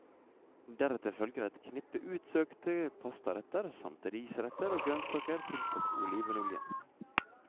Deretter følger et knippe utsøkte pastaretter, samt risretter og grønnsaker tilsatt olivenolje.